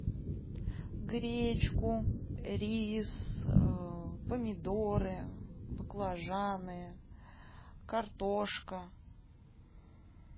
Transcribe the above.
гречку рис помидоры баклажаны картошка